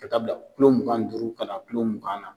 Ka taa bila kulo mugan ni duuru kana kulo mugan na